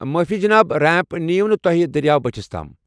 معٲفی، جناب۔ ریمپ نیو نہٕ تۄہہِ دٔریاو بٔٹھِس تام۔